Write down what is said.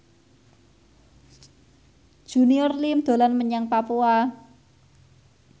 Junior Liem dolan menyang Papua